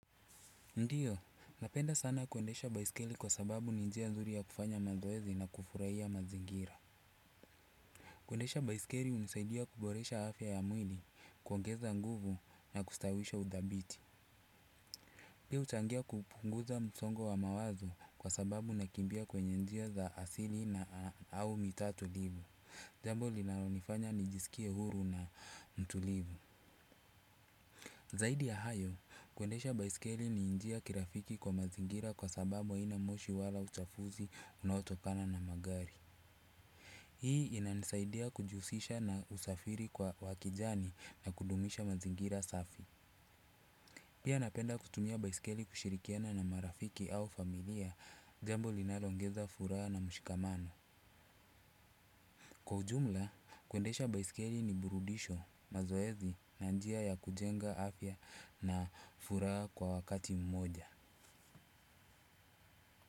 Ndiyo, napenda sana kuendesha baiskeli kwa sababu ni njia nzuri ya kufanya mazoezi na kufurahia mazingira. Kuendesha baiskeli hunisaidia kuboresha afya ya mwili, kuongeza nguvu na kustawisha udhabiti. Pia huchangia kupunguza msongo wa mawazo kwa sababu nakimbia kwenye njia za asili na au mitaa tulivu. Jambo linalonifanya nijisikie huru na mtulivu. Zaidi ya hayo, kuendesha baiskeli ni njia ya kirafiki kwa mazingira kwa sababu haina moshi wala uchafuzi unaotokana na magari. Hii inanisaidia kujihusisha na usafiri kwa wa kijani na kudumisha mazingira safi. Pia napenda kutumia baiskeli kushirikiana na marafiki au familia jambo linaloongeza furaha na mshikamano. Kwa ujumla, kuendesha baiskeli ni burudisho, mazoezi na njia ya kujenga afya na furaha kwa wakati mmoja.